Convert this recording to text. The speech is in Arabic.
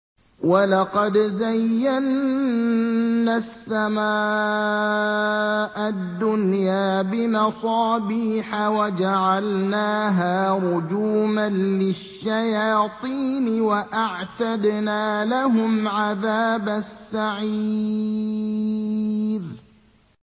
وَلَقَدْ زَيَّنَّا السَّمَاءَ الدُّنْيَا بِمَصَابِيحَ وَجَعَلْنَاهَا رُجُومًا لِّلشَّيَاطِينِ ۖ وَأَعْتَدْنَا لَهُمْ عَذَابَ السَّعِيرِ